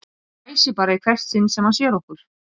Hann hvæsir bara í hvert sinn sem hann sér okkur